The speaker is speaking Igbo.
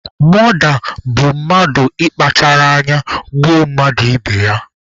Mọda bụ mmadụ mmadụ ị kpachara anya gbuo mmadụ ibe ya.